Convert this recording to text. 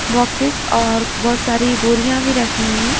Boxes और बहुत सारी बोरियां भी रखी हुई हैं।